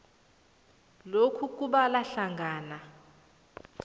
lokhu kubala hlangana